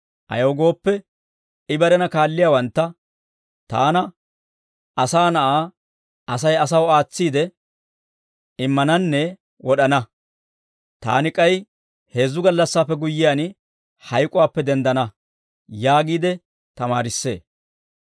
Ayaw gooppe, I barena kaalliyaawantta «Taana, Asaa Na'aa, Asay asaw aatsiide immananne wod'ana; taani k'ay heezzu gallassaappe guyyiyaan, hayk'uwaappe denddana» yaagiide tamaarissee.